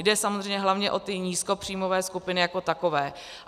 Jde samozřejmě hlavně o ty nízkopříjmové skupiny jako takové.